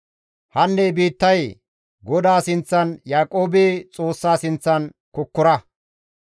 Hanne biittayee! Godaa sinththan Yaaqoobe Xoossa sinththan kokkora.